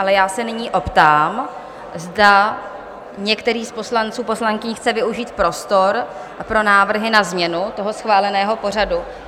Ale já se nyní optám, zda některý z poslanců, poslankyní chce využít prostor pro návrhy na změnu toho schváleného pořadu?